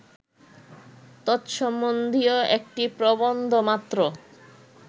তৎসম্বন্ধীয় একটি প্রবন্ধমাত্র